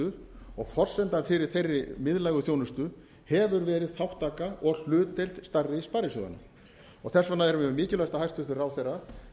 þjónusta og forsendan fyrir þeirri miðlægu þjónustu hefur verið þátttaka og hlutdeild stærri sparisjóðanna þess vegna er mjög mikilvægt að hæstvirtur ráðherra